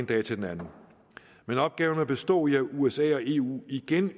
dag til den anden men opgaven vil bestå i at usa og eu igen